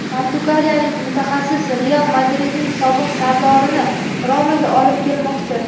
portugaliyalik mutaxassis "Real Madrid"ning sobiq sardorini "Roma" ga olib kelmoqchi.